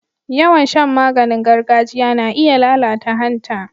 Yawan shan maganing gargajiya na iya lalata hanta.